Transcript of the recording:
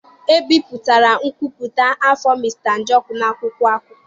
E bipụtara nkwupụta afọ Mr Njoku n'akwụkwọ akụkọ.